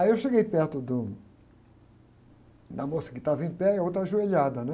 Aí eu cheguei perto do, da moça que estava em pé e a outra ajoelhada, né?